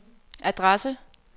adresse